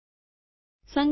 સંકલન કરો